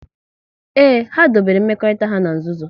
Ee, ha dobere mmekọrịta ha n'nzuzo